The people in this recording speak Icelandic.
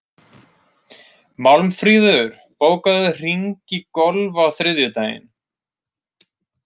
Málmfríður, bókaðu hring í golf á þriðjudaginn.